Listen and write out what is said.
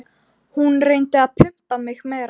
Hún reyndi að pumpa mig meira.